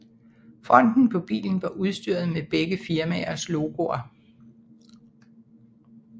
Fronten på bilen var udstyret med begge firmaers logoer